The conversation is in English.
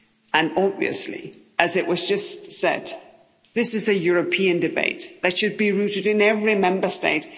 in. And obviously, as was just said, this is a European debate that should be rooted in every Member State.